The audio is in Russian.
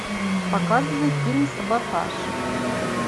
показывай фильм саботаж